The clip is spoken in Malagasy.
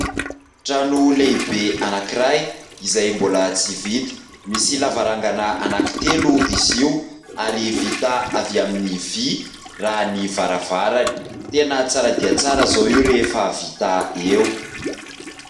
Trano lehibe anankiray izay mbola tsy vita, misy lavarangana anaky telo izy io ary vita avy amin'ny vy raha ny varavarany. Tena tsara dia tsara izao io rehefa vita eo.